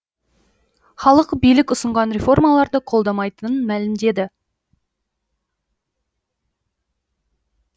халық билік ұсынған реформаларды қолдамайтынын мәлімдеді